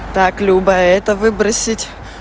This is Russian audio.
так люба это выбросить